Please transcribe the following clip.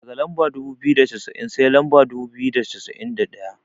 Daga lamba dubu biyu da cassa'in sai lamba dubu biyu da cassa'in da ɗaya.